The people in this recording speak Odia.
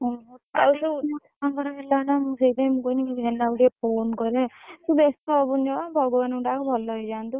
ଓହୋ ହେଲା ନା ମୁଁ ସେଇଥିପାଇଁ ମୁଁ କହନି ମୁଁ ହେନା କୁ ଟିକେ phone କରେ ତୁ ବ୍ୟସ୍ତ ହବୁନୁ ଜମା ଭଗବାନଙ୍କୁ ଡାକ ଭଲ ହେଇଯାନ୍ତୁ।